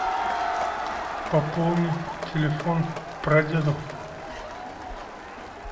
пополни телефон прадеду